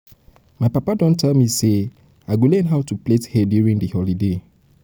my papa don tell me say i go learn how to plait hair during dis holiday